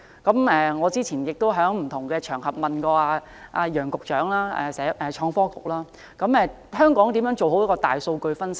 我過去在不同的場合中，詢問創新及科技局局長楊偉雄，香港如何做好大數據分析。